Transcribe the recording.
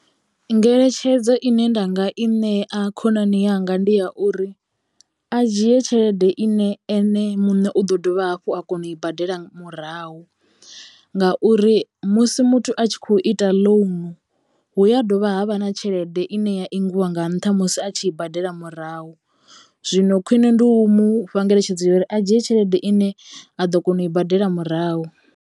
Ngeletshedzo ine nda nga i ṋea khonani yanga ndi ya uri a dzhie tshelede ine ene muṋe u ḓo dovha hafhu a kona u i badela murahu ngauri musi muthu a tshi kho ita ḽounu hu ya dovha havha na tshelede ine ya ingiwa nga nṱha musi a tshi i badela murahu. Zwino khwiṋe ndi u mufha ngeletshedzo ya uri a dzhie tshelede ine a ḓo kona u i badela murahu.